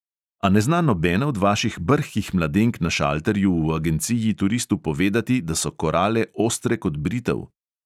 A ne zna nobena od vaših brhkih mladenk na šalterju v agenciji turistu povedati, da so korale ostre kot britev?